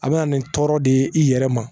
A bɛ na nin tɔɔrɔ de i yɛrɛ ma